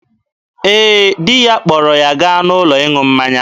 Ee, di ya kpọrọ ya gaa n'ụlọ ịṅụ mmanya.